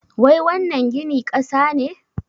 Wai wannan gini ƙasa ne?